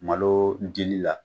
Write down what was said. Malo dili la.